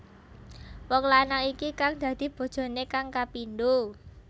Wong lanang iki kang dadi bojoné kang kapindho